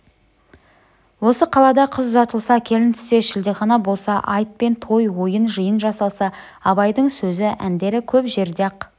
осы қалада қыз ұзатылса келін түссе шілдехана болса айт пен той ойын-жиын жасалса абайдың сөзі әндері көп жерде-ақ